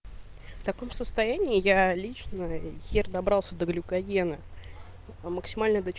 таком состоянии я лично венгер добрался до глюка гены максимальные